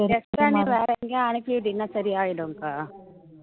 extra நீ வேற எங்கயாவது அனுப்பி விட்டீன்னா சரியாயிடும்க்கா